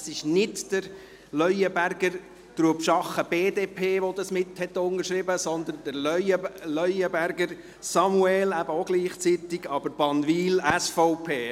Es ist nicht «Leuenberger, Trubschachen, BDP», der dies mitunterschrieben hat, sondern «Leuenberger Samuel, Bannwil, SVP».